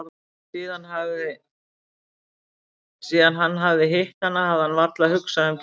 Síðan hann hafði hitt hana hafði hann varla hugsað um Gerði.